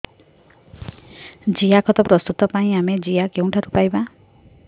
ଜିଆଖତ ପ୍ରସ୍ତୁତ ପାଇଁ ଆମେ ଜିଆ କେଉଁଠାରୁ ପାଈବା